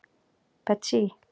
Betsý